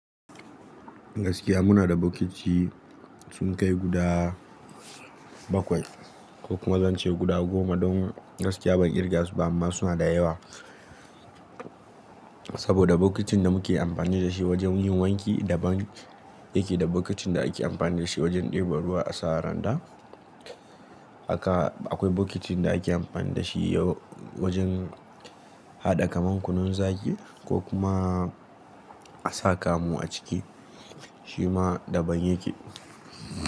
Gaskiya muna da bokiti sun kai guda bakwai ko kuma zance guda goma. Don gaskiya ban kirga su ba amma suna da yawa. Saboda bokitin da muke amfani da shi wajen yin wanki daban yake da bokitin da ake amfani da shi wajen ɗebo ruwa a sa randa. Haka akwai bokitin da ake amfani da shi yau wajen haɗa kaman kunun zaki ko kuma a sa kamu a ciki shi ma daban yake.